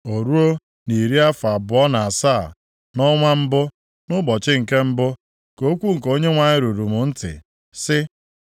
Ọ ruo, nʼiri afọ abụọ na asaa, nʼọnwa mbụ, nʼụbọchị nke mbụ, ka okwu nke Onyenwe anyị ruru m ntị, sị,